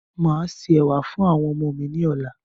Màá se ẹ̀wà fún àwọn ọmọ mi ní ọ̀la.